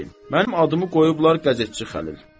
Mənim adımı qoyublar qəzetçi Xəlil.